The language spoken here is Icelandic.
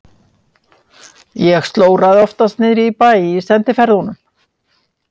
Ég slóraði oftast niðri í bæ í sendiferðunum.